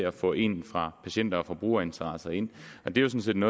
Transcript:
at få en fra patient og forbrugerinteresser ind det er jo sådan